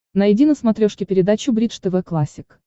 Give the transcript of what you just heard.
найди на смотрешке передачу бридж тв классик